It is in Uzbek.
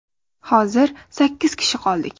Hozir sakkiz kishi qoldik.